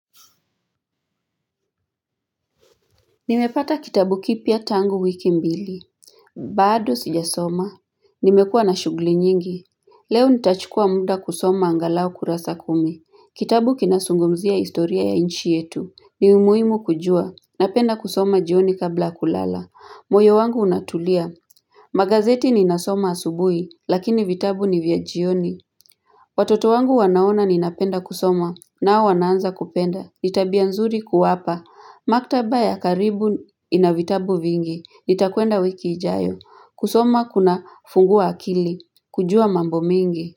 Nimepata kitabu kipya tangu wiki mbili. Bado sijasoma. Nimekua na shughli nyingi. Leo nitachukua muda kusoma angalau kurasa kumi. Kitabu kinasungumzia historia ya inchi yetu. Ni umuimu kujua. Napenda kusoma jioni kabla kulala. Moyo wangu unatulia. Magazeti ninasoma asubui. Lakini vitabu ni vya jioni. Watoto wangu wanaona ninapenda kusoma. Nao wanaanza kupenda. Ni tabia nzuri kuwapa. Maktaba ya karibu ina vitabu vingi, nitakwenda wiki ijayo, kusoma kunafunguwa akili, kujua mambo mingi.